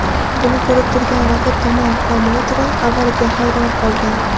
Buni ko‘rib turgan raqib tomon promouteri avvaliga hayron qolgan.